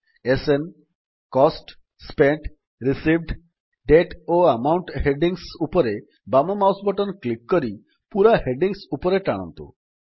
SN cost spent received date ଓ account headings ଉପରେ ବାମ ମାଉସ୍ ବଟନ୍ କ୍ଲିକ୍ କରି ପୂରା ହେଡିଙ୍ଗ୍ସ ଉପରେ ଟାଣନ୍ତୁ